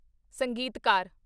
ਸੰਗੀਤਕਾਰ